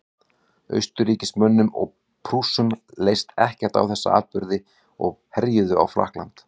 austurríkismönnum og prússum leist ekkert á þessa atburði og herjuðu á frakkland